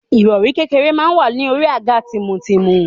Ìrọ̀rí kékeré máa wà ní orí àga tìmùtìmù.